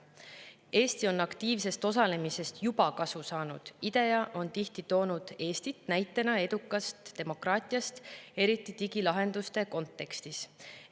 Eesti on aktiivsest osalemisest juba kasu saanud – IDEA on tihti toonud Eestit näitena edukast demokraatiast, eriti digilahenduste kontekstis.